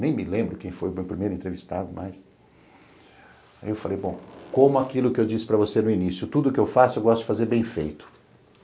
Nem me lembro quem foi o primeiro entrevistado, mas... Aí eu falei, bom, como aquilo que eu disse para você no início, tudo que eu faço, eu gosto de fazer bem feito.